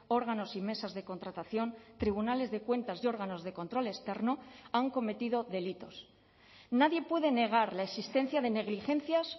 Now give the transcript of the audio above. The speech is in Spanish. órganos y mesas de contratación tribunales de cuentas y órganos de control externo han cometido delitos nadie puede negar la existencia de negligencias